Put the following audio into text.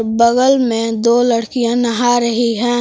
बगल में दो लड़कियां नहा रही हैं।